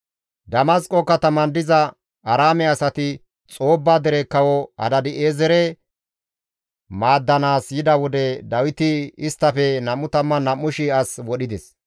Damasqo kataman diza Aaraame asati Xoobba dere Kawo Hadaadi7eezere maaddanaas yida wode Dawiti isttafe 22,000 as wodhides.